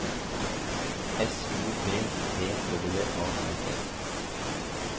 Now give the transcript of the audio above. S O F T W A R E